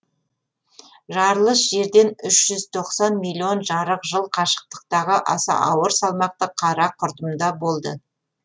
жарылыс жерден үш жүз тоқсан миллион жарық жыл қашықтықтағы аса ауыр салмақты қара құрдымда болды